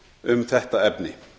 um þetta efni